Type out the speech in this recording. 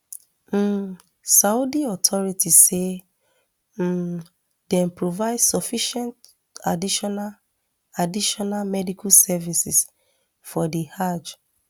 um saudi authorities say um dem provide sufficient additional additional medical services for di hajj